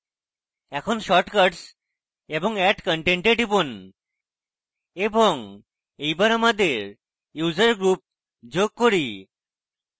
এখন shortcuts এবং add content এ টিপুন এবং এইবার আমাদের user group যোগ করি